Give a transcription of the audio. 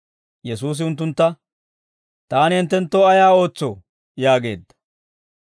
Yesuusi unttuntta, «Taani hinttenttoo ayaa ootsoo?» yaageedda.